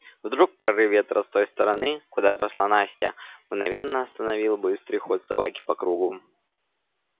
вдруг прорыв ветра с той стороны куда пошла настя мгновенно остановил быстрый ход собаки по кругу